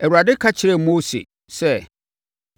Awurade ka kyerɛɛ Mose sɛ,